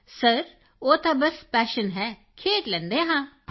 Kritika sir ਉਹ ਤਾਂ ਬਸ ਪੈਸ਼ਨ ਹੈ ਖੇਡ ਲੈਂਦੇ ਹਾਂ